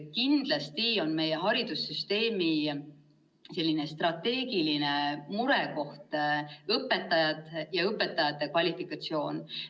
Kindlasti on meie haridussüsteemi strateegiline murekoht õpetajad ja õpetajate kvalifikatsioon.